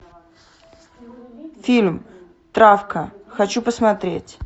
фильм травка хочу посмотреть